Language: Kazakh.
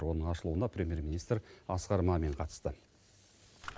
оның ашылуына премьер министр асқар мамин қатысты